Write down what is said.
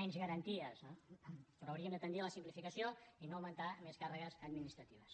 menys garanties no però hauríem de tendir a la simplificació i no augmentar més càrregues administratives